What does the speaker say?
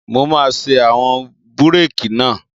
Mo máa ṣe àwọn búrèkì náà